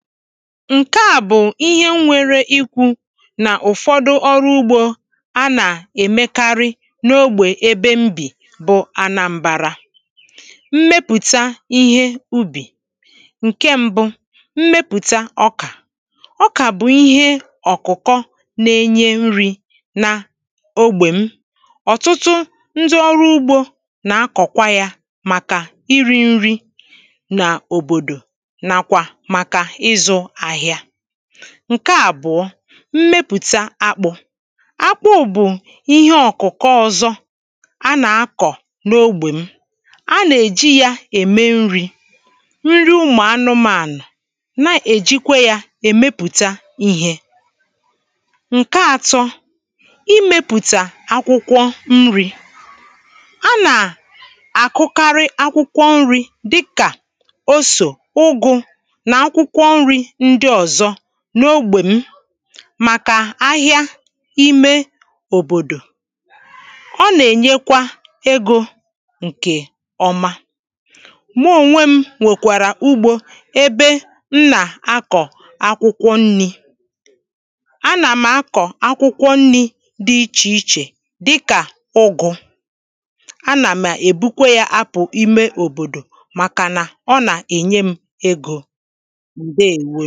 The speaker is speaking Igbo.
ǹdéèwó Ǹke à bụ̀ ihe m nwere ikwū Nà ụ̀fọdụ ọrụ ugbō a nà-èmekarị n’ogbè ebe m bì bụ anambara mmepụ̀ta ihe ubì ǹke mbụ mmepụ̀ta ọkà ọkà bụ̀ ihe ọ̀kụ̀kọ na-enye nrī na ogbè m ọ̀tụtụ ndị ọrụ ugbō nà-akọ̀kwa yā màkà irī nri nà òbòdò nàkwà màkà ịzụ̄ ahịa ǹke àbụ̀ọ mmepụ̀ta akpụ̄ akpụ bụ̀ ihe ọ̀kụ̀kọ ọ̄zọ̄ a nà-akọ̀ n’ogbè m a nà-èji yā ème nrī nri ụmụ̀ anụ̄mānụ̀ na-èjikwa yā èmepụ̀ta ihē ǹke àtọ imēpụ̀ta awụkwọ nrī a nà à kụkarị akwụkwọ nrī dịkà osò, ụgụ̄, nà akwụkwọ nrī ndị ọ̀zọ n’ogbè m màkà ahịa ime òbòdò. ọ nà-ènyekwa egō ǹkè ọma mụ ònwe m nwèkwàrà ugbō ebe m nà-akọ̀ akwụkwọ nnī a nà m akọ akwụkwọ nnī dị ichè ichè dịkà ụgụ̄ a nà m̀ èbukwa yā apụ̀ ime òbòdò màkànà ọ nà-ènye m̄ egō. ǹdeèwo.